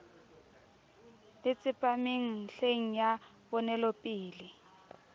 le tsepameng nlheng ya ponelopele